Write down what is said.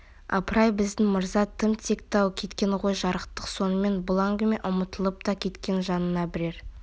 апыр-ай біздің мырза тым текті-ау кең ғой жарықтық сонымен бұл әңгіме ұмытылып та кеткен жанына бірер